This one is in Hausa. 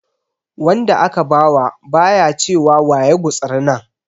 Wanda aka ba wa ba ya ce wa wa ya gutsuri nan.